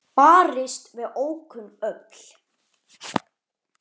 Barist við ókunn öfl